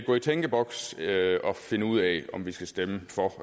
gå i tænkeboks og finde ud af om vi skal stemme for